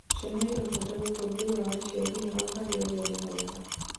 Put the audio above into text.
Ciana irabata utongorĩa wa aciari ao harĩ ureri mwega